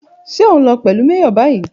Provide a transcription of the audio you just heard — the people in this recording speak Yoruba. Ṣe o nlo pẹlu Major bayi?